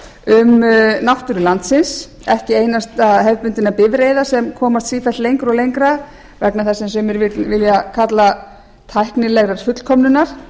um náttúru landsins ekki einasta hefðbundinna bifreiða sem komast sífellt lengra og lengra vegna þess sem sumir vilja kalla tæknilegrar fullkomnunar